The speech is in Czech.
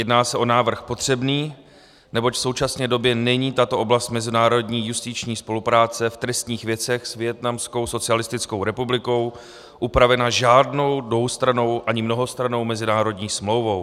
Jedná se o návrh potřebný, neboť v současné době není tato oblast mezinárodní justiční spolupráce v trestních věcech s Vietnamskou socialistickou republikou upravena žádnou dvoustrannou ani mnohostrannou mezinárodní smlouvou.